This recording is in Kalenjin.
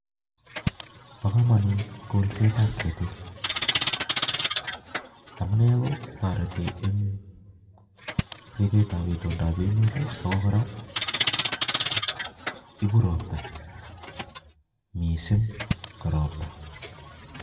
Bokomonut kolset ab ketik amunee kotoreti eng ribet ab itondondap emet ago kora koibu robta mising ko robta